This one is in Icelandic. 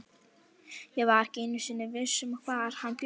Ég var ekki einu sinni viss um hvar hann bjó.